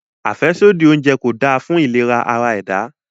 Afẹsodi ounjẹ ko da fun ilera ara-ẹda